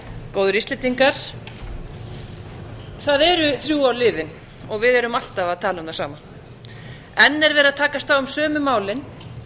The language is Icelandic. góðir íslendingar það eru þrjú ár liðin og við erum alltaf að tala um það sama enn er verið að takast á um sömu málin